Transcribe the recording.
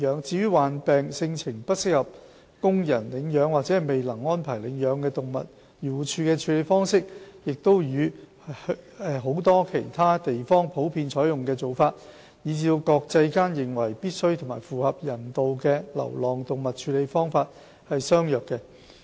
至於患病、性情不適宜供人領養或未能安排領養的動物，漁護署的處理方式與許多其他地方普遍採用的做法，以至國際間認為必需及符合人道的流浪動物處理方式，是相若的。